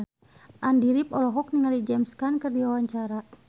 Andy rif olohok ningali James Caan keur diwawancara